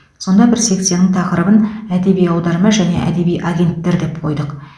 сонда бір секцияның тақырыбын әдеби аударма және әдеби агенттер деп қойдық